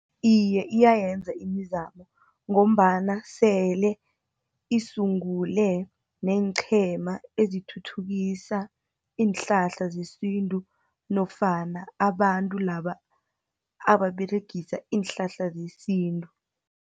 Iye, iyayenza imizamo, ngombana sele isungule, neenqhema ezithuthukisa iinhlahla zesintu, nofana abantu laba ababeregisa iinhlahla zesintu.